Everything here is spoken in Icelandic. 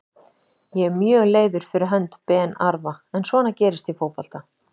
Ég er mjög leiður fyrir hönd Ben Arfa en svona gerist í fótbolta.